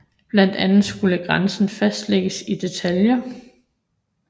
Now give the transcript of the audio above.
Blandt andet skulle grænsen fastlægges i detaljer